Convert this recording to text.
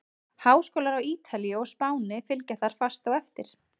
Háskólar á Ítalíu og Spáni fylgja þar fast á eftir.